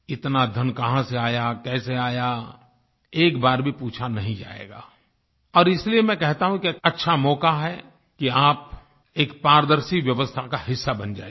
इतना धन कहाँ से आया कैसे आया एक बार भी पूछा नहीं जाएगा और इसलिए मैं कहता हूँ कि अच्छा मौका है कि आप एक पारदर्शी व्यवस्था का हिस्सा बन जाइए